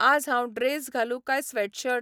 आज हांव ड्रेस घालूं काय स्वॅटशर्ट?